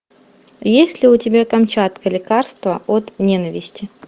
есть ли у тебя камчатка лекарство от ненависти